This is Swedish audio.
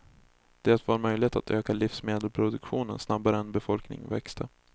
Det var möjligt att öka livsmedelsproduktionen snabbare än befolkning växte.